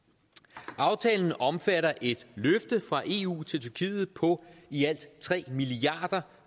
aftalen omfatter et løfte fra eu til tyrkiet på i alt tre milliard